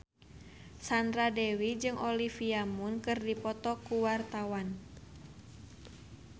Sandra Dewi jeung Olivia Munn keur dipoto ku wartawan